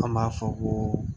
An b'a fɔ ko